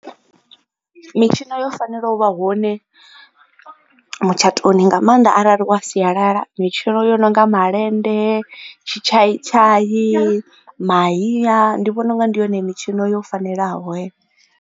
Mitshino yo fanela u vha hone mutshatoni nga maanḓa arali u wa sialala. Mitshino yo no nga malende, tshitshai tshai, mahiya, ndi vhona u nga ndi yone mitshino yo fanelaho heyo.